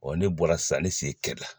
ne bɔra sisan ne sen kɛri la